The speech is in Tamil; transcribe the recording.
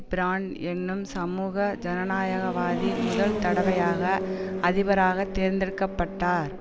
பிராண்ட் என்னும் சமூக ஜனநாயகவாதி முதல் தடவையாக அதிபராக தேர்ந்தெடுக்க பட்டார்